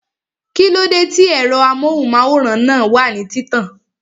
Kíló dé tí ẹ̀rọ amóhùnmáwòrán náà wà ní títàn?